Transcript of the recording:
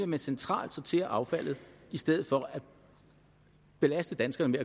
man centralt sorterer affaldet i stedet for at belaste danskerne